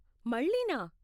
మళ్ళీనా?